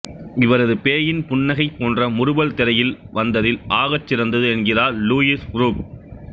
இவரது பேயின்புன்னகை போன்ற முறுவல் திரையில் வந்ததில் ஆகச்சிறந்தது என்கிறார் லூயிஸ் புரூக்